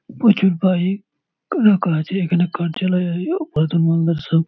প্রচুর বাইক ক রাখা আছে এখানে কার্যালয় ও সব--